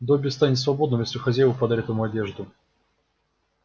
добби станет свободным если хозяева подарят ему одежду